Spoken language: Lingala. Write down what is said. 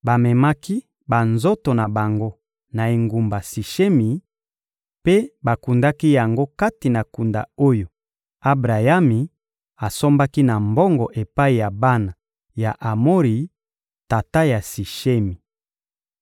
Bamemaki banzoto na bango na engumba ya Sishemi mpe bakundaki yango kati na kunda oyo Abrayami asombaki na mbongo epai ya bana ya Amori, tata ya Sishemi.